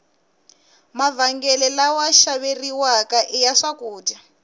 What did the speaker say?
mavhengele lawa xaveriwaka iya swakudya